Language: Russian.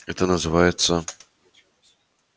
это называется